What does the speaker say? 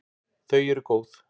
Þau eru góð.